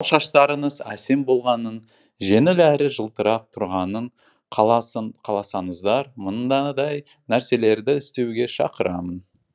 ал шаштарыңыз әсем болғанын жеңіл әрі жылтырап тұрғанын қаласаңыздар мынадай нәрселерді істеуге шақырамын